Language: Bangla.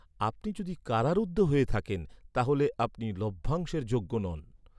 আপনি যদি কারারুদ্ধ হয়ে থাকেন, তাহলে আপনি লভ্যাংশের যোগ্য নন।